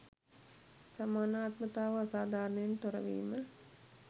සමානාත්මතාව අසාධාරණයෙන් තොරවීම